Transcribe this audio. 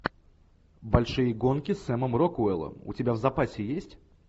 большие гонки с сэмом рокуэллом у тебя в запасе есть